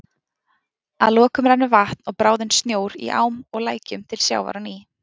Að lokum rennur vatn og bráðinn snjór í ám og lækjum til sjávar á ný.